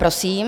Prosím.